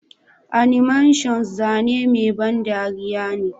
Animations zane mai ban dariya ne.